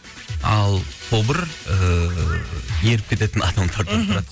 ал тобыр ыыы еріп кететін адамдардан тұрады мхм